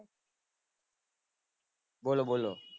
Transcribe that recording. બોલો બોલો